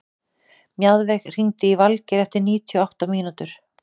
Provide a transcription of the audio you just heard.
Mjaðveig, hringdu í Valgeir eftir níutíu og átta mínútur.